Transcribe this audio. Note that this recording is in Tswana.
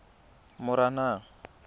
moranang